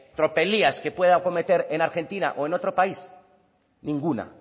tropelías que puede cometer en argentina o en otro país ninguna